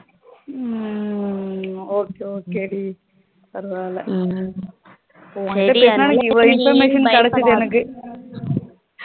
ஹம் okay okay டி பாரவாயில் ஹம் உண்ட பேசுனதுனால எவ்வளோ information கேடச்சது எனக்கு